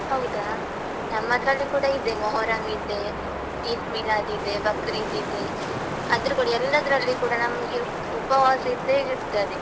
ಹೌದಾ? ನಮ್ಮದ್ರಲ್ಲಿ ಕೂಡ ಇದೆ, ಮೊಹರಂ ಇದೆ, ಈದ್ಮಿಲಾದ್‌ ಇದೆ, ಬಕ್ರಿದ್ ಇದೆ, ಆದ್ರೂ ಕೂಡ, ಎಲ್ಲಾದ್ರಲ್ಲಿಯೂ ಕೂಡ ನಮ್ಗೆ ಉಪವಾಸ ಇದ್ದೇ ಇರ್ತದೆ.